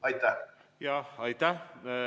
Aitäh!